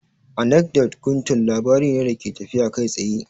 Anekdot guntun labari ne da ke tafiya kai tsaye